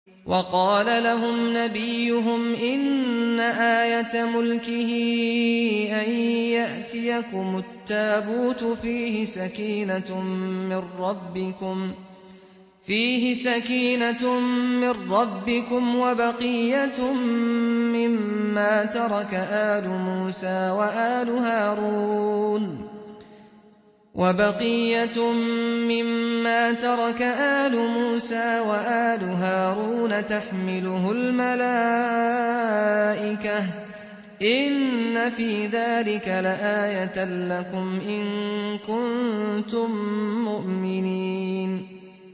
وَقَالَ لَهُمْ نَبِيُّهُمْ إِنَّ آيَةَ مُلْكِهِ أَن يَأْتِيَكُمُ التَّابُوتُ فِيهِ سَكِينَةٌ مِّن رَّبِّكُمْ وَبَقِيَّةٌ مِّمَّا تَرَكَ آلُ مُوسَىٰ وَآلُ هَارُونَ تَحْمِلُهُ الْمَلَائِكَةُ ۚ إِنَّ فِي ذَٰلِكَ لَآيَةً لَّكُمْ إِن كُنتُم مُّؤْمِنِينَ